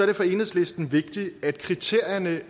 det for enhedslisten vigtigt at kriterierne